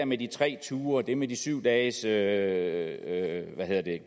med de tre ture og det med de syv dages dages